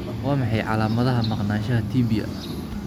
Waa maxay calaamadaha iyo calaamadaha Maqnaanshaha Tibia?